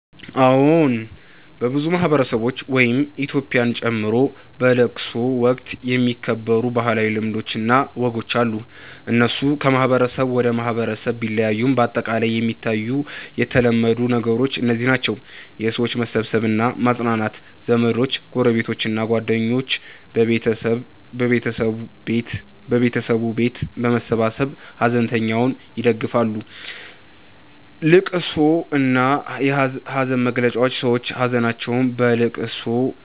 አዎን፣ በብዙ ማህበረሰቦች (ኢትዮጵያን ጨምሮ) በለቅሶ ወቅት የሚከበሩ ባህላዊ ልማዶች እና ወጎች አሉ። እነሱ ከማህበረሰብ ወደ ማህበረሰብ ቢለያዩም በአጠቃላይ የሚታዩ የተለመዱ ነገሮች እነዚህ ናቸው፦ የሰዎች መሰብሰብ እና ማጽናናት ዘመዶች፣ ጎረቤቶች እና ጓደኞች በቤተሰቡ ቤት በመሰብሰብ ሐዘንተኛውን ይደግፋሉ። ልቅሶ እና ሐዘን መግለጫ ሰዎች ሀዘናቸውን በልቅሶ፣